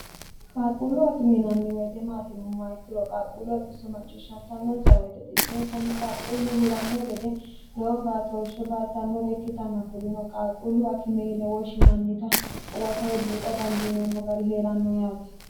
qaalqquullu akime yinanni woyite maati yinommoha ikkiro qaqquullo macciishsantanonsa woyite xisonsanni qaaqquullu huranno gede lowo baatooshe baatannore ikkitanna kurino qaqquullu akime yine woshshinannita huwata woy buuxa dandiineemmo gari hee'ranno yaate